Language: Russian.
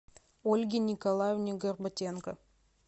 ольге николаевне горбатенко